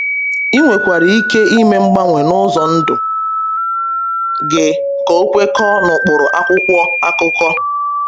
Ị nwere ike ime mgbanwe na ụzọ ndụ gị ka ọ kwekọọ n’ụkpụrụ akwụkwọ akụkọ.